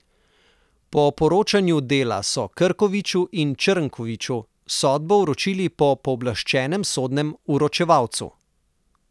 Po poročanju Dela so Krkoviču in Črnkoviču sodbo vročili po pooblaščenem sodnem vročevalcu.